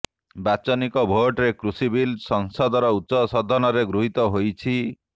ବାଚନିକ ଭୋଟରେ କୃଷି ବିଲ୍ ସଂସଦର ଉଚ୍ଚସଦନରେ ଗୃହୀତ ହୋଇଛି